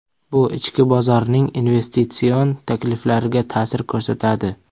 Bu ichki bozorning investitsion takliflariga ta’sir ko‘rsatadi.